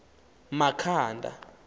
makhanda